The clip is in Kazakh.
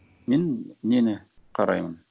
мен нені қараймын